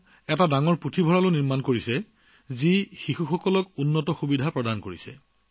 তেওঁলোকৰ বাবে এটা ডাঙৰ পুথিভঁৰালো নিৰ্মাণ কৰা হৈছে যাতে লৰাছোৱালীয়ে পঢ়াশুনা কৰিবলৈ অধিক সুবিধা পায়